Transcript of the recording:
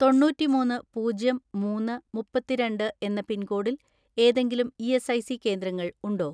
തൊണ്ണൂറ്റിമൂന്ന് പൂജ്യം മൂന്ന് മുപ്പത്തിരണ്ട് എന്ന പിൻകോഡിൽ ഏതെങ്കിലും ഇ.എസ്.ഐ.സി കേന്ദ്രങ്ങൾ ഉണ്ടോ?